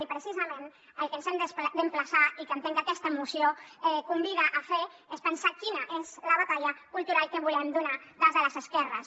i precisament al que ens hem d’emplaçar i que entenc que aquesta moció convida a fer és a pensar quina és la batalla cultural que volem donar des de les esquerres